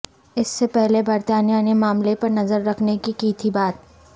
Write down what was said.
اس سے پہلے برطانیہ نے معاملے پر نظر رکھنے کی کہی تھی بات